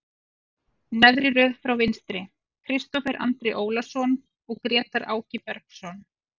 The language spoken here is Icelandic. Neðri röð frá vinstri, Kristófer Andri Ólason og Grétar Áki Bergsson.